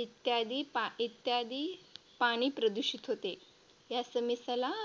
इत्यादी इत्यादी पाणी प्रदूषित होते. या समस्येला आपण